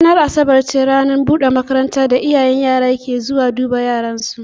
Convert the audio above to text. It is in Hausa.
Ranar Asabar ne ranar buɗe makaranta da iyaye suke zuwa duba yaran su.